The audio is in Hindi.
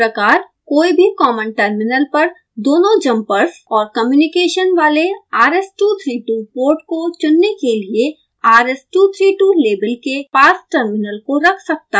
उसी प्रकार कोई भी कॉमन टर्मिनल पर दोनों जम्पर्स और कम्युनिकेशन वाले rs232 पोर्ट को चुनने के लिए rs232 लेबल के पास टर्मिनल को रख सकता है